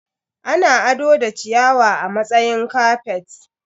Ana ado da ciyawa a matsayin kafet.